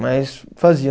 Mas fazia.